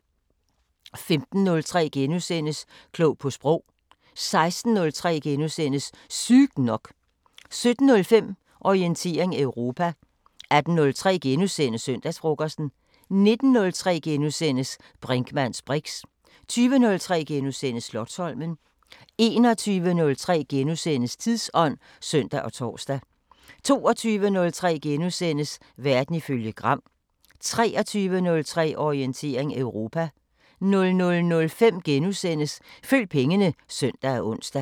15:03: Klog på Sprog * 16:03: Sygt nok * 17:05: Orientering Europa 18:03: Søndagsfrokosten * 19:03: Brinkmanns briks * 20:03: Slotsholmen * 21:03: Tidsånd *(søn og tor) 22:03: Verden ifølge Gram * 23:03: Orientering Europa 00:05: Følg pengene *(søn og ons)